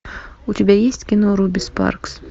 у тебя есть кино руби спаркс